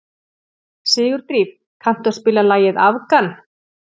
Sigurdríf, kanntu að spila lagið „Afgan“?